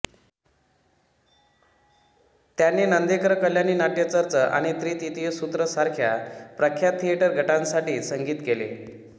त्यांनी नंदीकर कल्याणी नाट्य चर्च आणि त्रितियो सुत्रो सारख्या प्रख्यात थिएटर गटांसाठी संगीत केले